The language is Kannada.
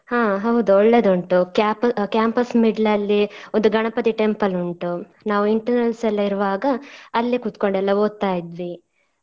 ಹಾ ಹೌದು ಒಳ್ಳೇದುಂಟು cap~ campus middle ಅಲ್ಲಿ ಒಂದು ಗಣಪತಿ temple ಉಂಟು ನಾವ್ internals ಎಲ್ಲ ಇರುವಾಗ ಅಲ್ಲೆ ಕೂತ್ಕೊಂಡೆಲ್ಲ ಓದ್ತಾ ಇದ್ವಿ.